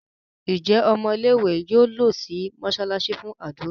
Njé Ọmọ ilé ìwé yóò ló sì mosalasi fún ádùrá?